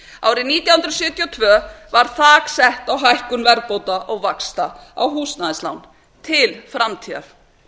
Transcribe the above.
árið nítján hundruð sjötíu og tvö var þak sett á hækkun verðbóta og vaxta á húsnæðislán til framtíðar